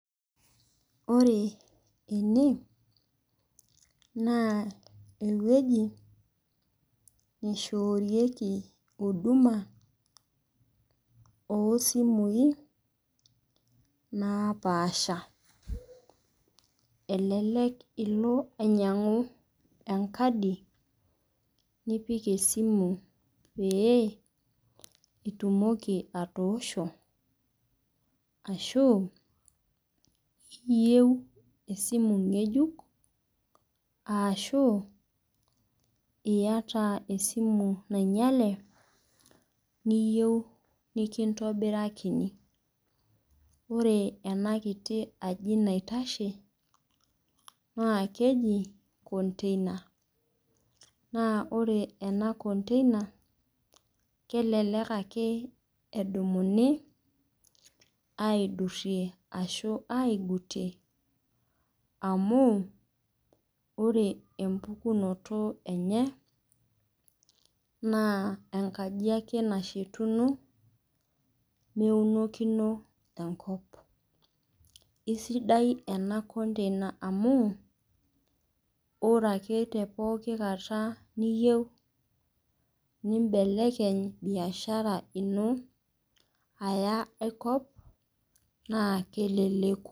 Ore ene, naa ewueji naishoorieeki huduma oo isimui, naapasha. Elelek ilo ainyang'u enkadi, nipik esimu pee itumoki atoosho, ashu iyeu esimu ng'ejuk, ashu iata esimu nainyale niyou nekintobirakini. Ore ena kiti aji naitashe naa keji konteina, naa ore ena konteina kelelek ake edumuni aidurie ashu aigutie, amu ore empukunoto enye naa enkaji ake nashetuno meunokino enkop. Esidai ena kontena amu, ore ake te pooki kata niyou nimbelekeny biashara ino aya ai kop naa keleleku.